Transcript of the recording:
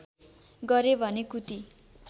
गरे भने कुती